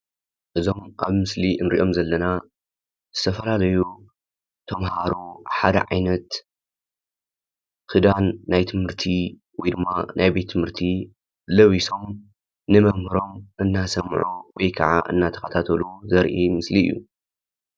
እዞም ኣብ ምስሊ እንሪኦም ዘለና ዝተፈላለዩ ተምሃሮ ሓደ ዓይነት ክዳን ናይ ትምህርቲ ወይ ድማ ናይ ቤት ትምህርቲ ለቢሶም ንመምህሮም እናሰምዑ ወይ ከዓ እናተኸታተሉ ዘርኢ ምስሊ እዩ።